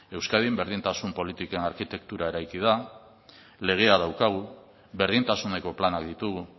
euskadin berdintasun politikan arkitektura eraiki da legea daukagu berdintasuneko planak ditugu